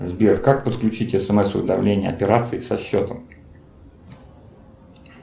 сбер как подключить смс уведомления операций со счетом